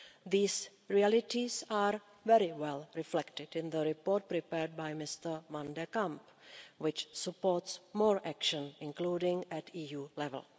These realities are very well reflected in the report prepared by Mr van de Camp, which supports more action, including at EU level.